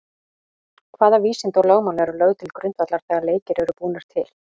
Hvaða vísindi og lögmál eru lögð til grundvallar þegar leikir eru búnir til?